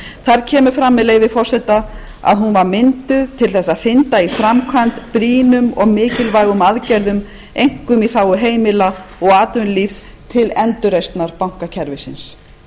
þar kemur fram með leyfi forseta að hún var mynduð til þess að hrinda í framkvæmd brýnum og mikilvægum aðgerðum einkum í þágu heimila og atvinnulífs til endurreisnar bankakerfisins